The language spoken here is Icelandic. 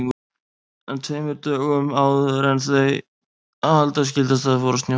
En tveimur dögum áður en halda skyldi af stað fór að snjóa.